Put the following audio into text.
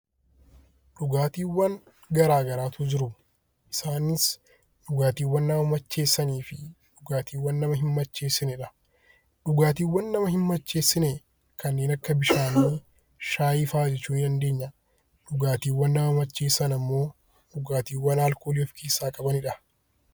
Dhugaatiiwwan garaagaraatu jiru. Isaanis dhugaatiiwwan nama macheessanii fi dhugaatiiwwan nama hin macheessinedha. Dhugaatiiwwan nama hin macheessine kanneen akka bishaanii, shaayii fa'aa jechuudha. Dhugaatiiwwan nama macheessan immoo dhugaatiiwwan alkoolii of keessaa qabanidha.